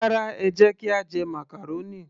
Rárá, ẹ jẹ́ kí a jẹ màcàrónì